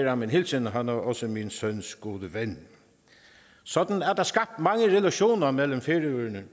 ham en hilsen han er også min søns gode ven sådan er der skabt mange relationer mellem færøerne